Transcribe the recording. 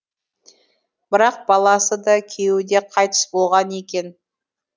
бірақ баласы да күйеуі де қайтыс болған екен